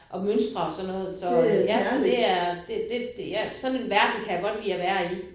Og mønstre og sådan noget så ja så det er det det det ja sådan en verden kan jeg godt lide at være i